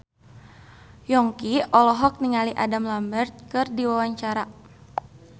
Yongki olohok ningali Adam Lambert keur diwawancara